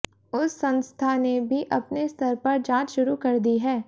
उस संस्था ने भी अपने स्तर पर जांच शुरू कर दी है